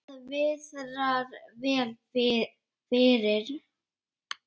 Það viðrar vel fyrir